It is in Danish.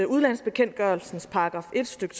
udlandsbekendtgørelsens § en stykke